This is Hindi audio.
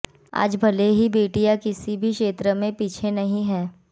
आज भले ही बेटियां किसी भी क्षेत्र में पीछे नहीं हैं